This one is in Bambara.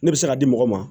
Ne bɛ se ka di mɔgɔ ma